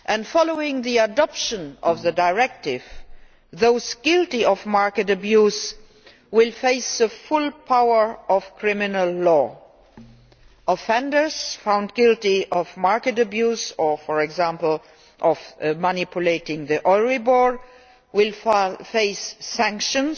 Following the adoption of the directive, those guilty of market abuse will face the full power of criminal law. Offenders found guilty of market abuse or, for example, of manipulating Euribor, will face sanctions,